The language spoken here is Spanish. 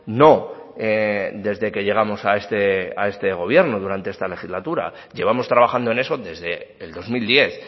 no desde que llegamos a esta gobierno durante esta legislatura llevamos trabajando en eso desde el dos mil diez